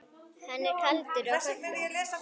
Hann er kaldur á köflum.